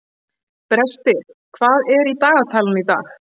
Brestir, hvað er í dagatalinu í dag?